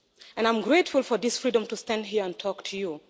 And I am grateful for this freedom to stand here and talk to you.